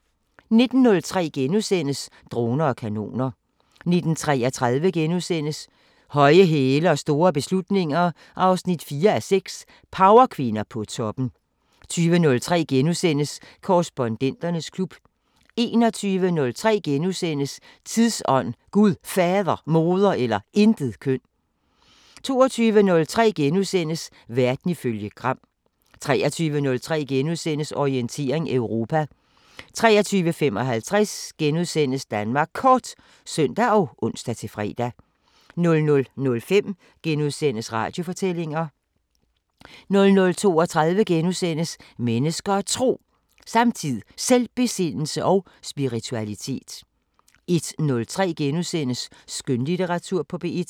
19:03: Droner og kanoner * 19:33: Høje hæle og store beslutninger 4:6 – Powerkvinder på toppen * 20:03: Korrespondenternes klub * 21:03: Tidsånd: Gud Fader, Moder eller Intetkøn * 22:03: Verden ifølge Gram * 23:03: Orientering Europa * 23:55: Danmark Kort *(søn og ons-fre) 00:05: Radiofortællinger * 00:32: Mennesker og Tro: Samtid, Selvbesindelse og spiritualitet * 01:03: Skønlitteratur på P1 *